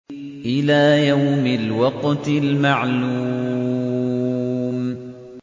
إِلَىٰ يَوْمِ الْوَقْتِ الْمَعْلُومِ